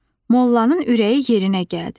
Mollanın ürəyi yerinə gəldi.